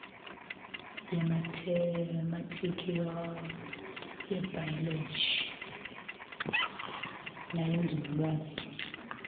yemathematika yebhayoloji neyenzululwazi